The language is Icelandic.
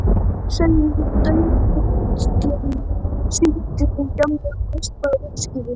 sagði hún daðurslega og sýndi þeim gamla og rispaða úrskífu.